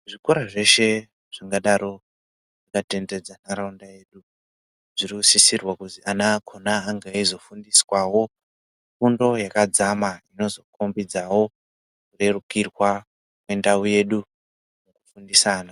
Zvikora zveshe zvingadaro zvaka tenderedze ntaraunda yedu zvino sisirwe kuti ana akhona azofundiswawo fundo yakadzama inozo khombidzawo kurerukirwa kwendau yedu ngekufundisa ana.